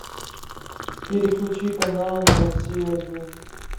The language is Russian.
переключи канал на россию один